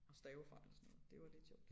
Og stavefejl og sådan noget det var lidt sjovt